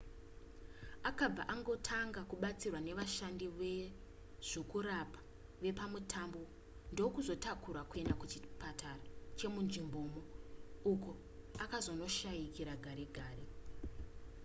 akabva angotanga kubatsirwa nevashandi vezvokurapa vepamutambo ndokuzotakurwa kuenda kuchipatara chemunzvimbomo uko akazonoshayikira gare gare